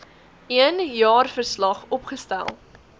een jaarverslag opgestel